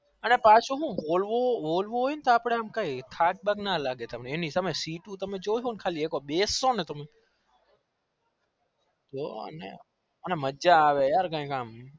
અલ્યા પાછુ હું બોલ વું હોય અપને થાક થાક ના લાગે તમે એની સામે સીટુ તમે જોશો બેસ સો તો કઈ મજા આવે